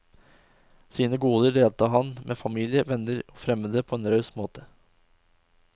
Sine goder delte han med familie, venner og fremmede på en raus måte.